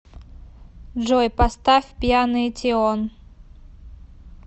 джой поставь пьяный тион